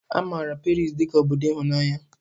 A maara Paris dị ka obodo ịhụnanya.